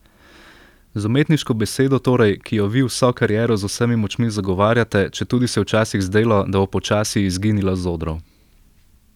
Z umetniško besedo torej, ki jo vi vso kariero z vsemi močmi zagovarjate, četudi se je včasih zdelo, da bo počasi izginila z odrov.